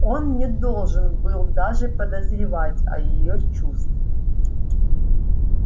он не должен был даже подозревать о её чувстве